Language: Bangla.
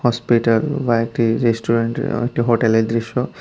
স্পেটার বাইটি রেস্টুরেন্টের ও একটি হোটেলের দৃশ্য।